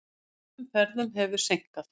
Öðrum ferðum hefur seinkað.